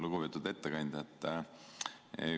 Lugupeetud ettekandja!